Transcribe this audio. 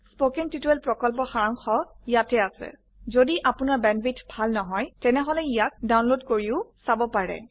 কথন শিক্ষণ প্ৰকল্পৰ সাৰাংশ ইয়াত আছে যদি আপোনাৰ বেণ্ডৱিডথ ভাল নহয় তেনেহলে ইয়াক ডাউনলোড কৰি চাব পাৰে